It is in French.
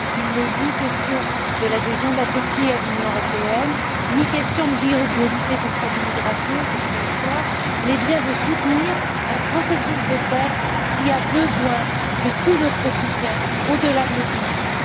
Il n'est ni question de l'adhésion de la Turquie à l'Union européenne ni question de lutter contre l'immigration, quelle qu'elle soit, mais bien de soutenir un processus de paix qui a besoin de tout notre soutien, au delà de nos divisions.